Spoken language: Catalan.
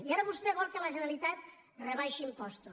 i ara vostè vol que la generalitat rebaixi impostos